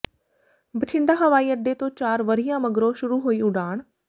ਬਠਿੰਡਾ ਹਵਾਈ ਅੱਡੇ ਤੋਂ ਚਾਰ ਵਰ੍ਹਿਆਂ ਮਗਰੋਂ ਸ਼ੁਰੂ ਹੋਈ ਉਡਾਣ